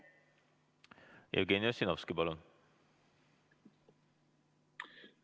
Jevgeni Ossinovski, palun!